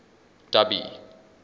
dubby